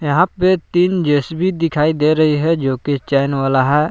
तीन जे_सी_बी दिखाई दे रही है जोकि चैन वाला है।